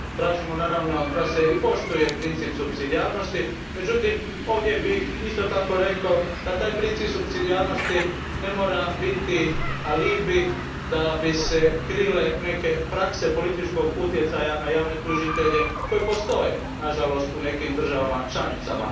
Tražimo i da se poštuje princip supsidijarnosti, međutim ovdje bih isto tako rekao da taj princip supsidijarnosti ne mora biti alibi da bi se krile neke prakse političkog utjecaja na javne tužitelje koji nažalost postoje u nekim državama članicama.